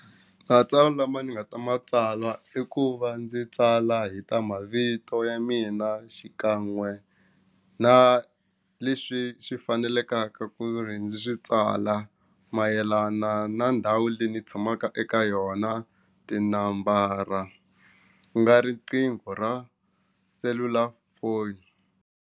Matsalwa lama ni nga ta matsala i ku va ndzi tsala hi ta mavito ya mina xikan'we na leswi swi fanelekaka ku ri swi tsala mayelana na ndhawu leyi ndzi tshamaka eka yona tinambara ku nga riqingho ra selulafoni.